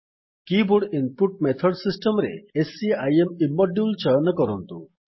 କୀ board input method system ରେ scim ଇମ୍ମଡ୍ୟୁଲ୍ ଚୟନ କରନ୍ତୁ